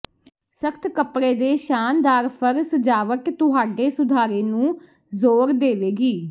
ਸਖ਼ਤ ਕਪੜੇ ਦੇ ਸ਼ਾਨਦਾਰ ਫਰ ਸਜਾਵਟ ਤੁਹਾਡੇ ਸੁਧਾਰੇ ਨੂੰ ਜ਼ੋਰ ਦੇਵੇਗੀ